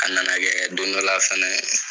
A nana kɛ don dɔla fɛnɛ